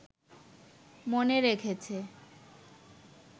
মনে রেখেছে